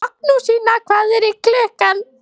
Magnúsína, hvað er klukkan?